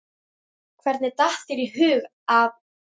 Hvernig datt þér í hug að?